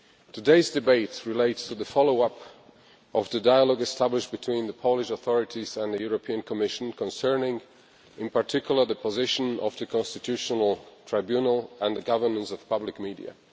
Today's debate relates to the follow up to the dialogue established between the Polish authorities and the Commission concerning, in particular, the position of the constitutional tribunal and the governance of public media.